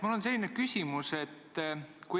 Mul on selline küsimus.